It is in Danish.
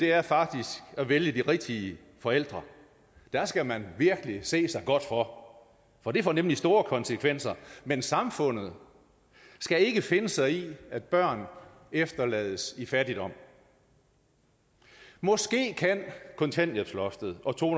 er faktisk at vælge de rigtige forældre der skal man virkelig se sig godt for for det får nemlig store konsekvenser men samfundet skal ikke finde sig i at børn efterlades i fattigdom måske kan kontanthjælpsloftet og to